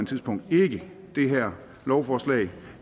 tidspunkt ikke det her lovforslag